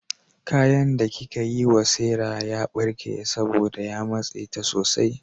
Kayan da kika yi wa Sarah ya barke saboda ya matse ta sosai.